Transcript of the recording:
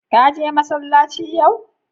Kaje masallaci yau?